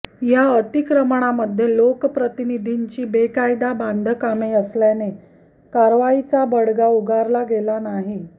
या अक्रिमणामध्ये लोक प्रतिनिधींची बेकायदा बांधकामे असल्याने कारवाईचा बडगा उगरला गेला नाही